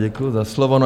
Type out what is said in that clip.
Děkuji za slovo.